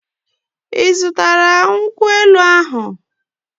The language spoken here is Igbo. Ị zụtara nkwụ elu ahụ?